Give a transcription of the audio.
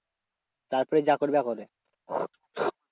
তারপরে যা করবে করবে।